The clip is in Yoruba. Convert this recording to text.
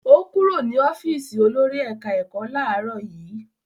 Ó kúrò ní ọ́fíísì olórí ẹ̀ka-ẹ̀kọ́ láàárọ̀ yìí?